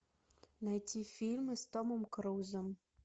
найти фильмы с томом крузом